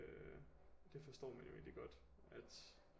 Øh det forstår man jo egentligt godt at